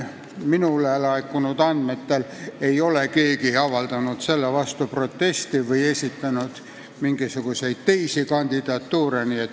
Minule laekunud andmetel ei ole keegi avaldanud selle vastu protesti või esitanud teisi kandidatuure.